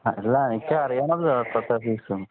അതല്ല എനിക്ക് അറിയണമല്ലോഎത്ര ഫീസ്എന്ന്